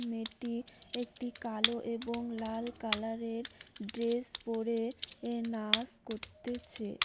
মেয়েটি একটি কালো এবং লাল কালারের ড্রেস পরে এ নাস করতেছে।